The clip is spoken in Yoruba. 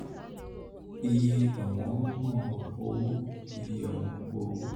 ìye owongogo ówó ìye owongogo ówó (cpi percent ìyípadà dec/dec): 5.0